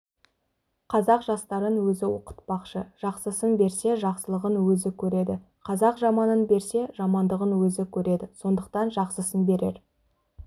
қазақ жастарын өзі оқытпақшы жақсысын берсе жақсылығын өзі көреді қазақ жаманын берсе жамандығын өзі көреді сондықтан жақсысын берер